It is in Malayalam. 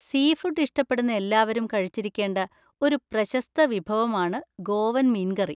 സീഫുഡ് ഇഷ്ടപ്പെടുന്ന എല്ലാവരും കഴിച്ചിരിക്കേണ്ട ഒരു പ്രശസ്ത വിഭവമാണ് ഗോവൻ മീൻ കറി.